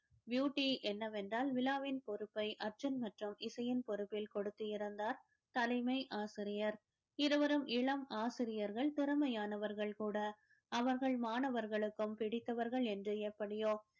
beauty என்னவென்றால் விழாவின் பொறுப்பை அர்ஜுன் மற்றும் இசையின் பொறுப்பில் கொடுத்து இருந்தார் தலைமை ஆசிரியர் இருவரும் இளம் ஆசிரியர்கள் திறமையானவர்கள் கூட அவர்கள் மாணவர்களுக்கும் பிடித்தவர்கள் என்று எப்படியோ